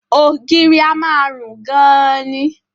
Ògiri a máa rùn gan-an ni